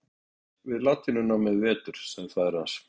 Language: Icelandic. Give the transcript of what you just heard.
Þú stóðst þig vel við latínunámið í vetur, sagði faðir hans.